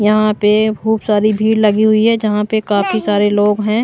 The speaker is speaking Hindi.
यहां पे खूब सारी भीड़ लगी हुई है जहां पे काफी सारे लोग हैं।